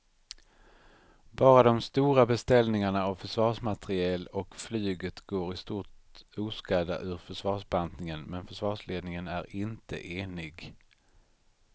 Bara de stora beställningarna av försvarsmateriel och flyget går i stort oskadda ur försvarsbantningen men försvarsledningen är inte enig.